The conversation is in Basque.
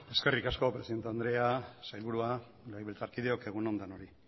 eskerrik asko presidente andrea sailburua legebiltzarkideok egun on denoi